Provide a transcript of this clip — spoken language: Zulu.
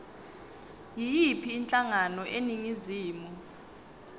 yiyiphi inhlangano eningizimu